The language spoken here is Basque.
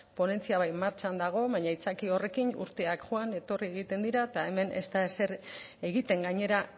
ponentzia bai martxan dago baina aitzakia horrekin urteak joan etorri egiten dira eta hemen ez da ezer egiten gainera